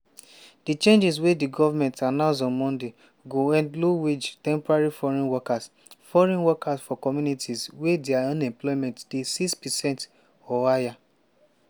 di changes wey di goment announce on monday go end low-wage temporary foreign workers foreign workers for communities wey dia unemployment dey 6 percent or higher.